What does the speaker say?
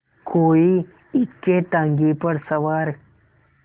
कोई इक्केताँगे पर सवार